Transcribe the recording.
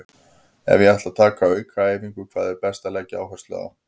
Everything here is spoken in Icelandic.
Ef ég ætla að taka aukaæfingu, hvað er best að leggja áherslu á?